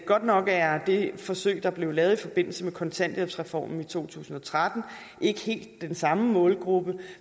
godt nok er det forsøg der blev lavet i forbindelse med kontanthjælpsreformen i to tusind og tretten ikke helt den samme målgruppe